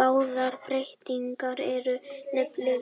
Báðar breytingarnar eru